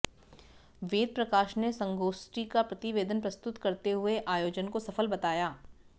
वेद प्रकाश ने संगोष्ठी का प्रतिवेतन प्रस्तुत करते हुए आयोजन को सफल बताया